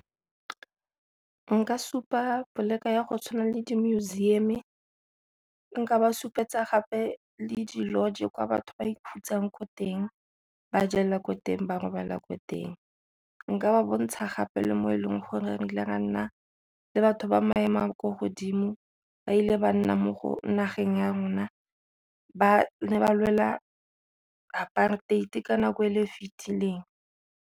Nka supa ya go tshwana le di-museum, nka ba supetsa gape le di-lodge kwa batho ba ikhutsang ko teng, ba jela ko teng ba robala ko teng. Nka ba bontsha gape le mo e leng gore re ile ga nna le batho ba maemo a kwa godimo ba ile ba nna mo go nageng ya rona ba ne ba lwela apartheid ka nako e le e fitileng.